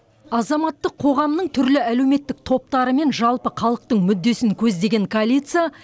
азаматтық қоғамның түрлі әлеуметтік топтары мен жалпы халықтың мүддесін көздеген коалиция